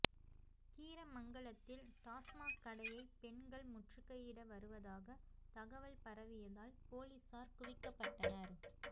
கீரமங்கலத்தில் டாஸ்மாக் கடையை பெண்கள் முற்றுகையிட வருவதாக தகவல் பரவியதால் போலீசார் குவிக்கப்பட்டனர்